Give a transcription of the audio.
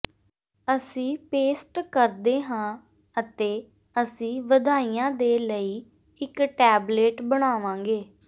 ਅਸੀਂ ਪੇਸਟ ਕਰਦੇ ਹਾਂ ਅਤੇ ਅਸੀਂ ਵਧਾਈਆਂ ਦੇ ਲਈ ਇੱਕ ਟੈਬਲੇਟ ਬਣਾਵਾਂਗੇ